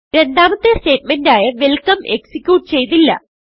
രണ്ടാമത്തെ സ്റ്റേറ്റ്മെന്റ് ആയ welcome execute ചെയ്തില്ല